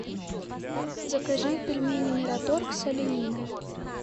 закажи пельмени мираторг с олениной